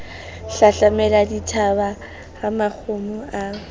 hlahlamela dithaba ha makgomo a